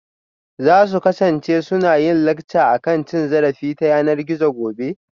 Za su kasance suna yin lacca akan cin zarafi ta yanar gizo gobe?